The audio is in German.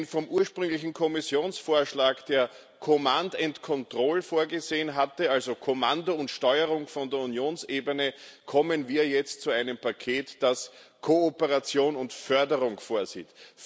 Denn vom ursprünglichen Kommissionsvorschlag, der command and control vorgesehen hatte, also Kommando und Steuerung von der Unionsebene, kommen wir jetzt zu einem Paket, das Kooperation und Förderung vorsieht